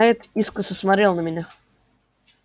найд искоса смотрел на меня